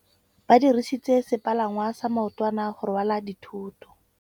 Ba dirisitse sepalangwasa maotwana go rwala dithôtô.